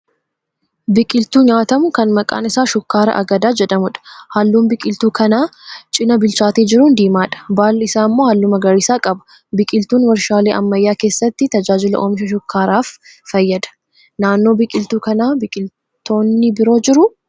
Biqiltuu nyaatamuu kan maqaan isaa Shukkaara Agadaa jedhamuudha. Halluun biqiltuu kanaa cina bilchaatee jiruun diimaadha. Baalli isaa immoo halluu magariisa qaba. Biqiltuun warshaalee ammayyaa keessatti tajaajila oomisha shukkaaraaf fayyada. Naannoo biqiltuu kanaa biqiltoonni biroo jiruu?